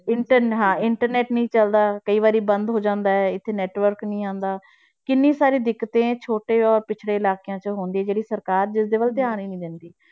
Inter~ ਹਾਂ internet ਨੀ ਚੱਲਦਾ ਕਈ ਵਾਰੀ ਬੰਦ ਹੋ ਜਾਂਦਾ ਹੈ, ਇੱਥੇ network ਨੀ ਆਉਂਦਾ, ਕਿੰਨੀ ਸਾਰੀ ਦਿੱਕਤਾਂ ਛੋਟੇ ਔਰ ਪਿੱਛੜੇ ਇਲਾਕਿਆਂ 'ਚ ਹੁੰਦੀ ਹੈ ਜਿਹੜੀ ਸਰਕਾਰ ਜਿਸਦੇ ਵੱਲ ਧਿਆਨ ਹੀ ਨੀ ਦਿੰਦੀ।